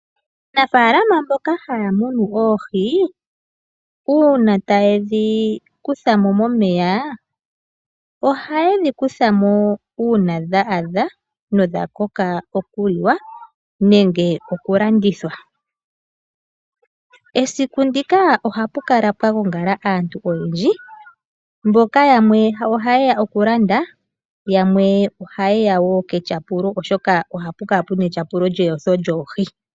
Aanafala mboka haya munu oohi uuna tayedhi kutha mo momeya ohaye dhi kutha mo uuna dha adha nodha koka oku liwa nenge oku landithwa. Esiku ndika ohapu kala pwa gongala aantu oyendji mboka yamwe haye ya oku landa, yamwe ohaye ya wo ketyapulo, oshoka ohapu kala puna etyapulo lyeyotho lyoohi.